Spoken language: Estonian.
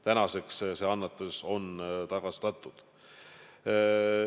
Tänaseks on see annetus tagastatud.